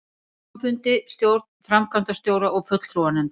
hluthafafundi, stjórn, framkvæmdastjóra og fulltrúanefnd.